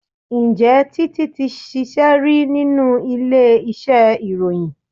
Ǹjẹ́ Títí ti ṣíṣe rí nínú ilé iṣẹ́ ìròyìn?